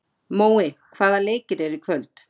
Mói, hvaða leikir eru í kvöld?